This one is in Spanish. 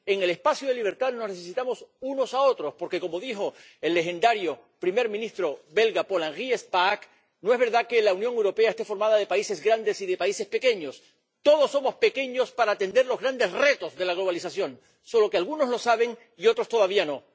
En el espacio de libertad nos necesitamos unos a otros porque ―como dijo el legendario primer ministro belga Paul Henri Spaak― no es verdad que la Unión Europea esté formada por países grandes y por países pequeños, todos somos pequeños para atender los grandes retos de la globalización, solo que algunos lo saben y otros todavía no.